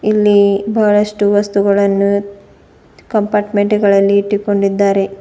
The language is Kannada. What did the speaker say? ಇಲ್ಲಿ ಬಹಳಷ್ಟು ವಸ್ತುಗಳನ್ನು ಕಂಪಾರ್ಟ್ಮೆಂಟ್ ಗಳಲ್ಲಿ ಇಟ್ಟುಕೊಂಡಿದ್ದಾರೆ.